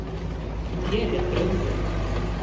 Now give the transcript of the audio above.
Þér er brugðið.